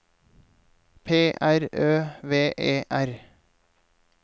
P R Ø V E R